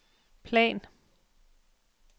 plan